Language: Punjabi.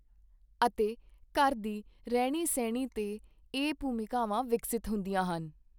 ਅਤੇ ਘਰ ਦੀ ਰਹਿਣੀ ਸਹਿਣੀ ਤੇ ਇਹ ਭੂਮਿਕਾਵਾਂ ਵਿਕਸਿਤ ਹੁੰਦੀਆਂ ਹਨ